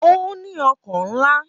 Ó ní ọkàn ńlá